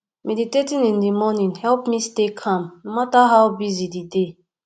meditating in the morning help me stay calm no matter how busy di day